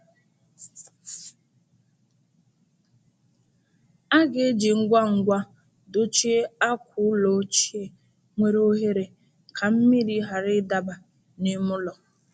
A ga-eji ngwa ngwa dochie akwa ụlọ ochie nwere oghere ka mmiri ghara ịdaba n’ime ụlọ.